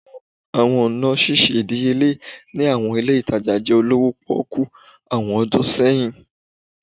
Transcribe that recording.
Awọn ọna ṣiṣe idiyele ni awọn ile itaja jẹ olowo poku awọn ọdun sẹyin